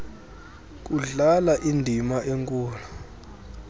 kudlala indima enkulu